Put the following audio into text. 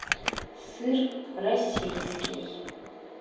сыр российский